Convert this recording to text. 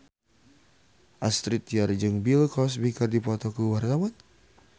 Astrid Tiar jeung Bill Cosby keur dipoto ku wartawan